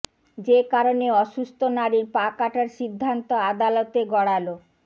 যে কারণে অসুস্থ নারীর পা কাটার সিদ্ধান্ত আদালতে গড়ালো